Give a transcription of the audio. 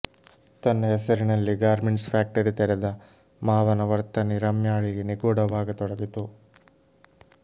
ತನ್ನ ಹೆಸರಿನಲ್ಲೇ garments factory ತೆರೆದ ಮಾವನ ವರ್ತನೆ ರಮ್ಯಾಳಿಗೆ ನಿಗೂಢವಾಗತೊಡಗಿತು